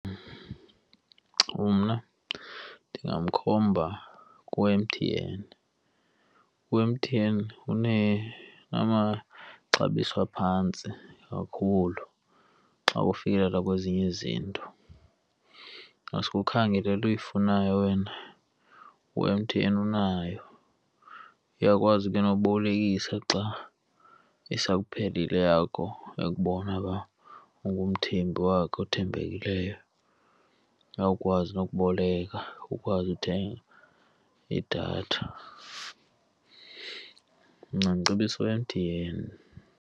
Mna, ndingamkhomba ku-M_T_N. U-M_T_N unamaxabiso aphantsi kakhulu xa kufikelelwa kwezinye izinto. Ku ngasuke ukhangele le nto uyifunayo wena, u-M_T_N unayo. Iyakwazi ke nokubolekisa xa isakuphelele eyakho, ekubona uba ungumthengi wakhe othembekileyo akwazi nokuboleka, ukwazi uthenga idatha. Mna ndicebisa u-M_T_N.